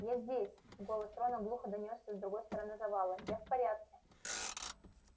я здесь голос рона глухо донёсся с другой стороны завала я в порядке